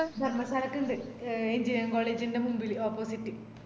ധര്മശാലക്കിണ്ട് a engineering college ന്ടെ മുമ്പില് opposite